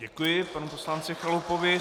Děkuji panu poslanci Chalupovi.